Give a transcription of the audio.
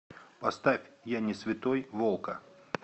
поставь я не святой волка